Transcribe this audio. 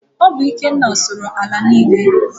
Ọ bụ Ikenna sụrụ ala niile.